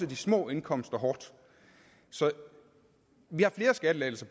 de små indkomster hårdt så vi har flere skattelettelser